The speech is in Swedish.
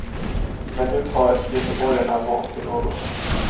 Men nu har göteborgarna vant sig något.